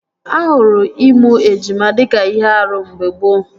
Ahụrụ ịmụ ejima dịka ihe árú mgbe gboo